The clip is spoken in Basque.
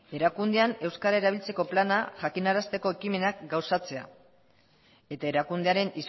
erakundean euskara erabiltzeko plana jakinarazteko ekimena gauzatzea eta erakundearen